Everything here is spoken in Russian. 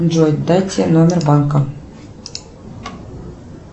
джой дайте номер банка